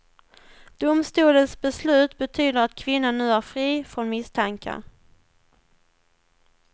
Domstolens beslut betyder att kvinnan nu är fri från misstankar.